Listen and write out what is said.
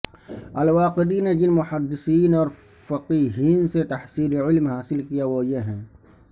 الواقدی نے جن محدثین اور فقیہین سے تحصیل علم حاصل کیا وہ یہ ہیں